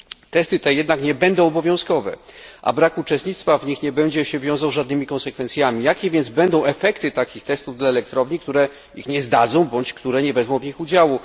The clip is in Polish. Testy te jednak nie będą obowiązkowe, a brak uczestnictwa w nich nie będzie się wiązał z żadnymi konsekwencjami. Jakie więc będą efekty takich testów dla elektrowni, które ich nie zdadzą, bądź nie wezmą w nich udziału?